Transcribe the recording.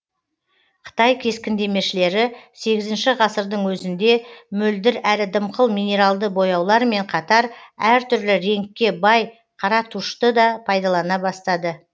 қытай кескіндемешілері сегізінші ғасырдың өзінде мөлдір әрі дымқыл минералды бояулармен қатар әр түрлі реңкке бай қара тушьты да пайдалана бастады